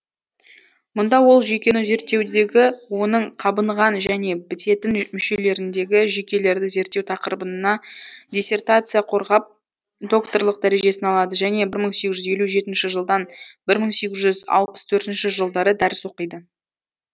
мұнда ол жүйкені зерттеудегі оның қабынған және бітетін мүшелеріндегі жүйкелерді зерттеу тақырыбына диссертация қорғап докторлық дәрежесін алады және бір мың сегіз жүз елу жетінші жылдан бір мың сегіз жүз алпыс төртінші жылдары дәріс оқиды